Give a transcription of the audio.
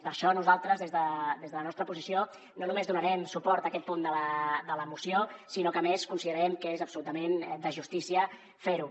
per això nosaltres des de la nostra posició no només donarem suport a aquest punt de la moció sinó que a més considerem que és absolutament de justícia fer ho